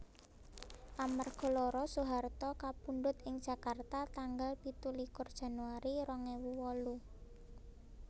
Amarga lara Soeharto kapundhut ing Jakarta tanggal pitulikur Januari rong ewu wolu